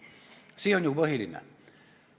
See on ju põhiline.